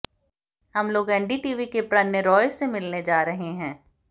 हम लोग एनडीटीवी के प्रणय रॉय से मिलने जा रहे हैं